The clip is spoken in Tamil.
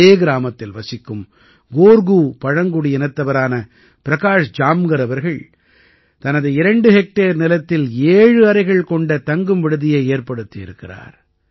இதே கிராமத்தில் வசிக்கும் கோர்கூ பழங்குடியினத்தவரான பிரகாஷ் ஜாம்கர் அவர்கள் தனது இரண்டு ஹெக்டேர் நிலத்தில் ஏழு அறைகள் கொண்ட தங்கும் விடுதியை ஏற்படுத்தி இருக்கிறார்